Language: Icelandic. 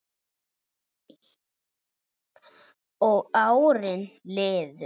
Og árin liðu.